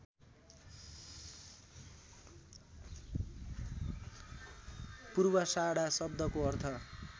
पूर्वाषाढा शब्दको अर्थ